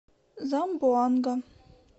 замбоанга